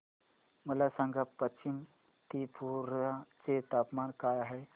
मला सांगा पश्चिम त्रिपुरा चे तापमान काय आहे